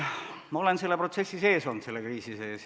Ma olen olnud selle protsessi sees, selle kriisi sees.